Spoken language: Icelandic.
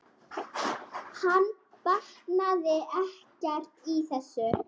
Hann botnaði ekkert í þessu.